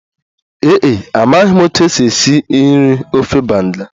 Ee e, amaghị m otú e si esi nri ofe banga